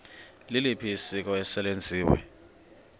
liliphi isiko eselenziwe